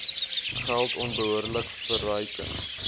geld onbehoorlike verryking